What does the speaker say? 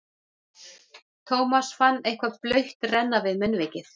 Thomas fann eitthvað blautt renna við munnvikið.